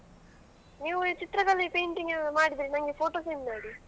ನೀವು ಚಿತ್ರಕಲೆ painting ಮಾಡಿದ್ರೆ ನನ್ಗೆ photo send ಮಾಡಿ.